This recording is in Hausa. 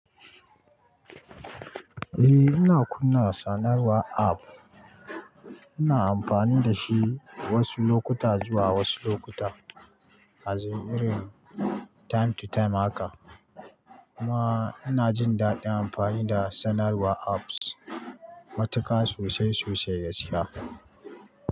Eh, ina kunna sanarwar app. Ina amfani da shi wasu lokuta zuwa wasu lokuta, azin irin time to time haka. Kuma ina jin daɗin amfani da sanarwar apps. Matuka sosai sosai gaskiya.